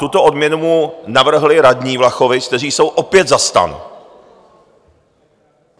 Tuto odměnu mu navrhli radní Vlachovic, kteří jsou opět za STAN.